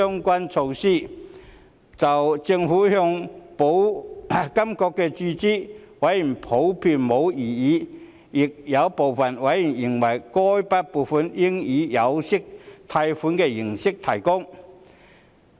委員普遍對政府向保監局注資沒有異議，但亦有部分委員認為該筆撥款應以有息貸款的形式提供。